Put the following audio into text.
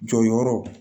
Jɔyɔrɔw